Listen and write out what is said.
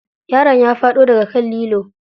Yaron ya faɗo daga kan lilo.